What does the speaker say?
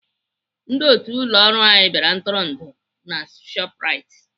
Ndị otu ụlọ ọrụ anyị bịara ntụrụndụ na Shoprite.